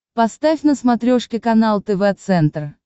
поставь на смотрешке канал тв центр